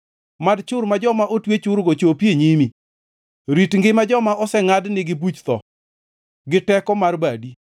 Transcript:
Mad chur ma joma otwe churgo chopi e nyimi; rit ngima joma osengʼad nigi buch tho, gi teko mar badi.